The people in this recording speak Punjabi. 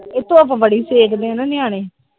ਇਹ ਧੁੱਪ ਬੜੀ ਸੇਕ ਦੇ ਨਿਆਣੇ।